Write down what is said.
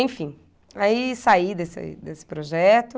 Enfim, aí saí desse desse projeto.